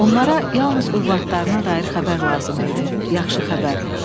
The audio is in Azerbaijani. Onlara yalnız övladlarına dair xəbər lazım idi, yaxşı xəbər.